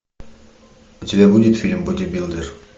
у тебя будет фильм бодибилдер